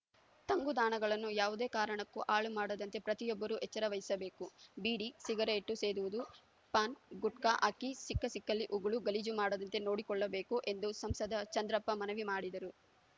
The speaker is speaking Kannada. ತಂಗುದಾಣಗಳನ್ನು ಯಾವುದೇ ಕಾರಣಕ್ಕೂ ಹಾಳು ಮಾಡದಂತೆ ಪ್ರತಿಯೊಬ್ಬರೂ ಎಚ್ಚರವಹಿಸಬೇಕು ಬೀಡಿ ಸಿಗರೇಟು ಸೇದುವುದು ಪಾನ್‌ ಗುಟ್ಕಾ ಹಾಕಿ ಸಿಕ್ಕ ಸಿಕ್ಕಲ್ಲಿ ಉಗುಳಿ ಗಲೀಜು ಮಾಡದಂತೆ ನೋಡಿಕೊಳ್ಳಬೇಕು ಎಂದು ಸಂಸದ ಚಂದ್ರಪ್ಪ ಮನವಿ ಮಾಡಿದರು